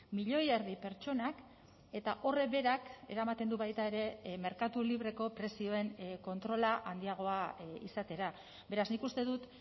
milioi erdi pertsonak eta horrek berak eramaten du baita ere merkatu libreko prezioen kontrola handiagoa izatera beraz nik uste dut